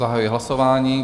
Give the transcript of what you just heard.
Zahajuji hlasování.